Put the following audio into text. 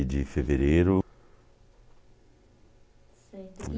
de fevereiro.